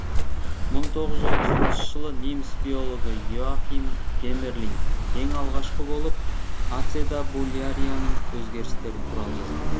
мың тоғыз жүз отызыншы жылы неміс биологі иоахим геммерлинг ең алғашқы болып ацетабулярияның өзгерістері туралы жазған